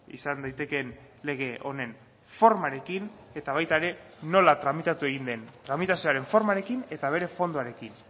izan daitekeen lege honen formarekin eta baita ere nola tramitatu egin den tramitazioaren formarekin eta bere fondoarekin